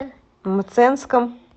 мценском